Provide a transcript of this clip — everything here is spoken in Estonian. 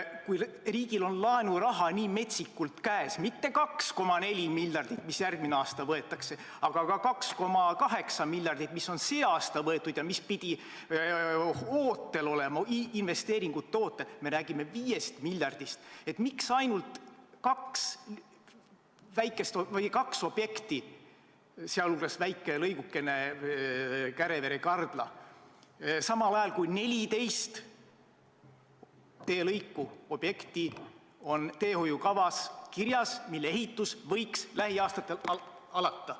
Kui riigil on laenuraha nii metsikult käes, mitte 2,4 miljardit, mis järgmisel aastal võetakse, vaid ka 2,8 miljardit, mis on sel aastal võetud ja mis pidi ootel olema, et investeeringuid toota, nii et me räägime 5 miljardist, siis miks on siin ainult kaks objekti, sealhulgas väike lõigukene Kärevere–Kardla, samal ajal kui 14 teelõiku, objekti, on teehoiukavas kirjas ja nende ehitus võiks lähiaastatel alata?